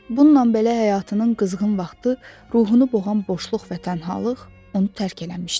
Bununla belə həyatının qızğın vaxtı, ruhunu boğan boşluq və tənhalıq onu tərk eləmişdi.